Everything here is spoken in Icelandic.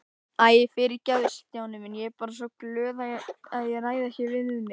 Æ, fyrirgefðu Stjáni minn, ég er bara svo glöð að ég ræð ekki við mig